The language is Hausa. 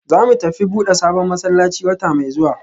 Zamu tafi buda sabon masallaci wata mai zuwa